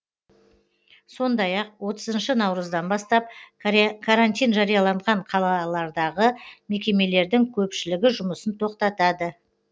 сондай ақ отызыншы наурыздан бастап карантин жарияланған қалалардағы мекемелердің көпшілігі жұмысын тоқтатады